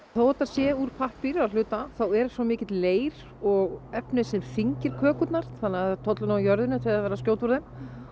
þó þetta sé úr pappír að hluta þá er svo mikill leir og efni sem þyngir kökurnar þannig það tollir nú á jörðinni þegar verið er að skjóta úr þeim